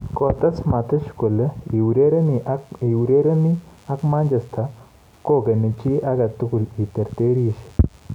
Kotees Matic kole, " iurereni ak Manchester United kogeni chi agetugul i terterisye".